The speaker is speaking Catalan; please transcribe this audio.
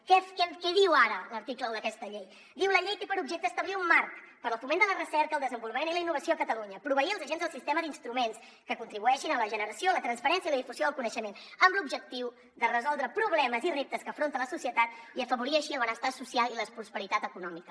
què diu ara l’article un d’aquesta llei diu la llei té per objecte establir un marc per al foment de la recerca el desenvolupament i la innovació a catalunya proveir els agents del sistema d’instruments que contribueixin a la generació la transferència i la difusió del coneixement amb l’objectiu de resoldre problemes i reptes que afronta la societat i afavorir així el benestar social i la prosperitat econòmica